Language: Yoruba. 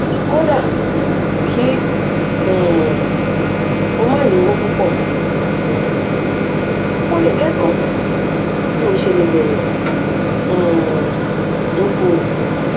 kódà kí um o má ní owó púpọ um o lè kẹkọọ bí o ṣe lè bẹrẹ um dókòwò